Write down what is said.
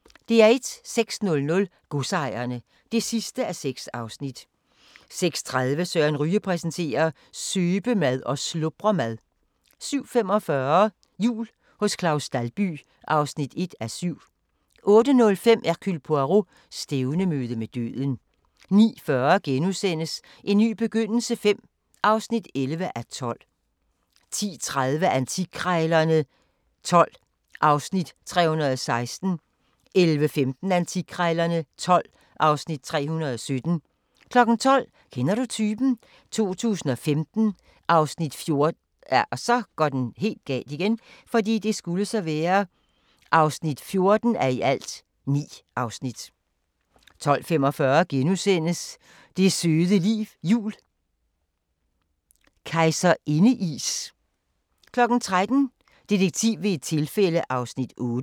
06:00: Godsejerne (6:6) 06:30: Søren Ryge præsenterer: Søbemad og slubremad 07:45: Jul hos Claus Dalby (1:7) 08:05: Hercule Poirot: Stævnemøde med døden 09:40: En ny begyndelse V (11:12)* 10:30: Antikkrejlerne XII (Afs. 316) 11:15: Antikkrejlerne XII (Afs. 317) 12:00: Kender du typen? 2015 (14:9) 12:45: Det søde liv jul – Kejserindeis * 13:00: Detektiv ved et tilfælde (8:8)